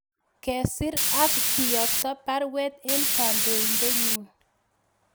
Kesir ak kiyokto baruet en kandoindenyun